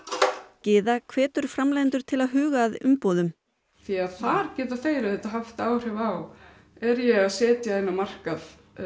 Gyða hvetur framleiðendur til að huga að umbúðum því að þar geta þeir haft áhrif á er ég að setja inn á markað